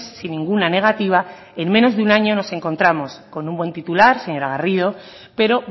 sin ninguna negativa en menos de un año nos encontramos con un buen titular señora garrido pero